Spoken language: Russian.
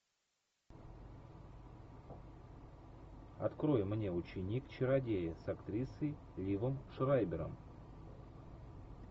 открой мне ученик чародея с актрисой ливом шрайбером